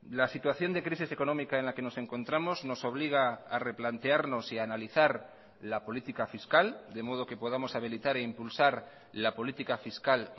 la situación de crisis económica en la que nos encontramos nos obliga a replantearnos y analizar la política fiscal de modo que podamos habilitar e impulsar la política fiscal